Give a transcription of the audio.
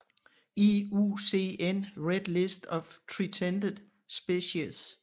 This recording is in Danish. IUCN Red List of Threatened Species